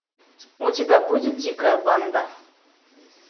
у тебя будет дикая банда